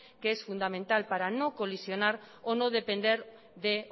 que es fundamental para no colisionar o no depender de